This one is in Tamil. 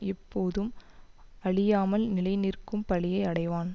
எப்போதும் அழியாமல் நிலை நிற்கும் பழியை அடைவான்